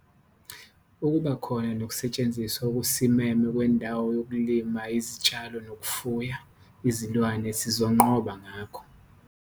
Ukuba khona nokusetshenziswa okusimeme kwendawo yokulima izitshalo nokufuya izilwane sizonqoba ngakho.